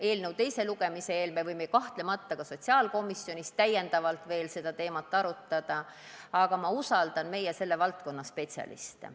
Eelnõu teise lugemise eel võime seda teemat kahtlemata ka sotsiaalkomisjonis veel arutada, aga ma usaldan meie selle valdkonna spetsialiste.